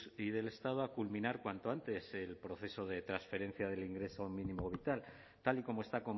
y del estado a culminar cuanto antes el proceso de transferencia del ingreso mínimo vital tal y como está